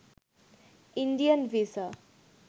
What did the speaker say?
Indian visa